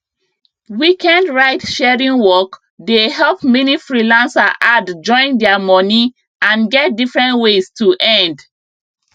weekend ride sharing work dey help many freelancer add join their money and get different ways to end